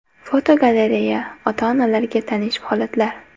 Fotogalereya: Ota-onalarga tanish holatlar.